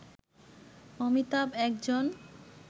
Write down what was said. অমিতাভ একজন